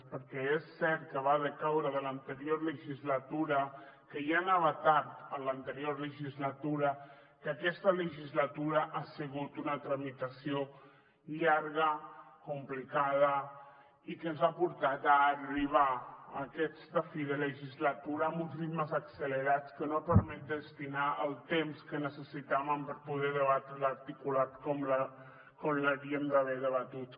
perquè és cert que va decaure de l’anterior legislatura que ja anava tard en l’anterior legislatura que aquesta legislatura ha sigut una tramitació llarga complicada i que ens ha portat a arribar a aquesta fi de legislatura amb uns ritmes accelerats que no van permetre destinar el temps que necessitàvem per poder debatre l’articulat com l’hauríem d’haver debatut